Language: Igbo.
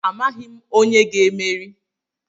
Amaghị m onye ga-emeri.